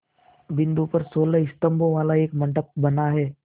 बिंदु पर सोलह स्तंभों वाला एक मंडप बना है